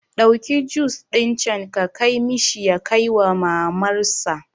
Ɗauki jus ɗin can ka kai mishi ya kaiwa mamar sa